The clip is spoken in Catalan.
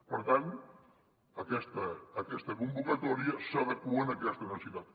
per tant aquesta convocatòria s’adequa a aquesta necessitat